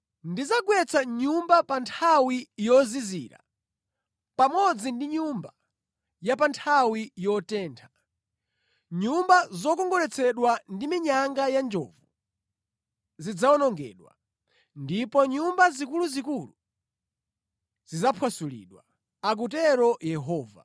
Ndidzagwetsa nyumba ya pa nthawi yozizira pamodzi ndi nyumba ya pa nthawi yotentha; nyumba zokongoletsedwa ndi minyanga ya njovu zidzawonongedwa ndipo nyumba zikuluzikulu zidzaphwasulidwa,” akutero Yehova.